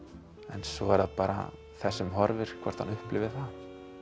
en svo er það bara þess sem horfir hvort hann upplifi það